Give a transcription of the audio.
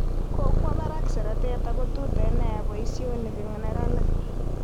Kokwo barak seretet ako tuten nia boisionik eng neranik